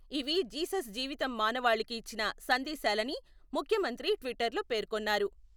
ఇవి జీసస్ జీవితం మానవాళికి ఇచ్చిన సందేశాలని ముఖ్యమంత్రి ట్విటర్లో పేర్కొన్నారు.